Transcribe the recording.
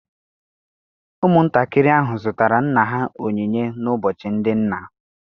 Ụmụntakịrị ahụ zụtara nna ha onyinye n'ụbọchị ndị nna.